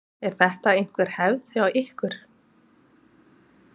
Er þetta einhver hefð hjá ykkur?